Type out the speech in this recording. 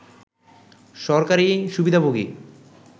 সরকারি সুবিধাভোগী